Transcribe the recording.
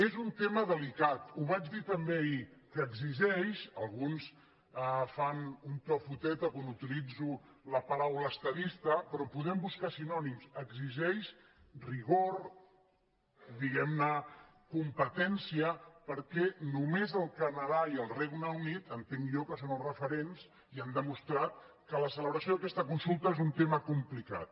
és un tema deli·cat ho vaig dir també ahir que exigeix alguns fan un to foteta quan utilitzo la paraula estadista però en podem buscar sinònims rigor diguem·ne competèn·cia perquè només el canadà i el regne unit entenc jo que són els referents i han demostrat que la celebració d’aquesta consulta és un tema complicat